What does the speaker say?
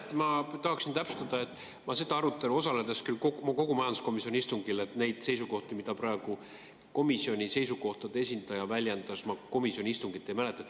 Jah, ma tahaksin täpsustada, et ma osalesin küll kogu majanduskomisjoni istungil, aga seda arutelu ja neid seisukohti, mida praegu komisjoni seisukohtade esindaja väljendas, ma komisjoni istungilt ei mäleta.